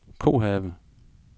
Kohave